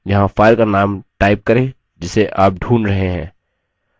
यहाँ file का name type करें जिसे आप ढूंढ रहे हैं